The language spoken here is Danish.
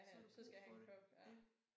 Så har du brug for det ja